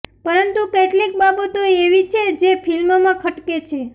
પરંતુ કેટલીક બાબતો એવી છે જે ફિલ્મમાં ખટકે છે